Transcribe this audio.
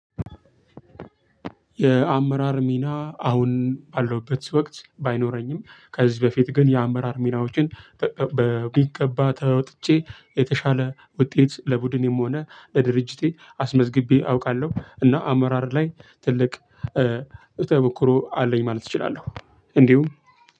የአመራር ሚና አሁን ባለውበት ወቅት ባይኖረኝም ከዚህ በፊት ግን የአመራር ሚናዎችን በሚገባ ተወጥቼ የተሻለ ውጤት ለቡድኔም ሆነ ለድርጅቴ አስመዝግቤ አውቃለሁ። እና አመራር ላይ ትልቅ ተሞኩሮ አለኝ ማለት እችላለሁ። እንዲሁ